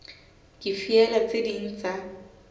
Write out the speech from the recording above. ke feela tse ding tsa